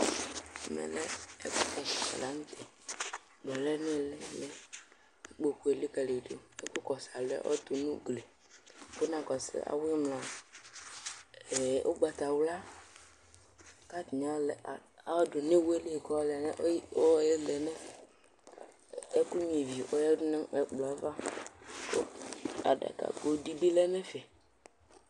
Ɛmɛlɛ ɛfʋ mifɔ lanʋtɛ ɛkplɔ lɛnʋiili ikpokʋ elikali yidʋ kʋ ɛkʋkɔsʋ alɔ yɛ ɔtʋ nʋ ugli kinakɔsʋ awʋ imlaa ʋgbatawla, kʋ atani ɔdʋnʋ iwɛli kʋ ɔlɛ nʋ ɛkʋ nyua ivi ava kʋ oyadʋnʋ ɛkplɔ yɛ ava adakago dibi lɛnʋ ɛfɛ